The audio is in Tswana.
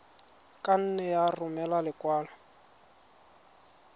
ka nne ya romela lekwalo